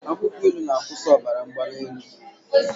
Akwụkwọ ilu na-akwụsị ọbara mgbali elu.